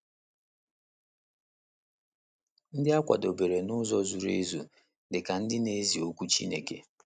Ndị A Kwadebere n’Ụzọ Zuru Ezu Dị Ka Ndị Na - ezi Okwu Chineke